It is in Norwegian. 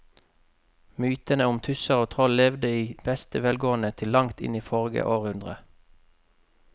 Mytene om tusser og troll levde i beste velgående til langt inn i forrige århundre.